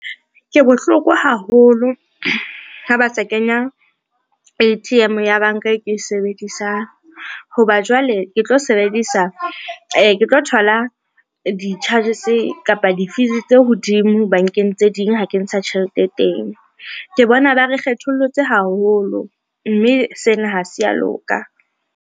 Ke bohloko haholo ha ba sa kenya A_T_M ya banka ke e sebedisang, ho ba jwale ke tlo thola di-charges kapa di-fees tse hodimo bankeng tse ding ha ke ntsha tjhelete teng, ke bona ba re kgethollotse haholo mme sena ha se ya loka.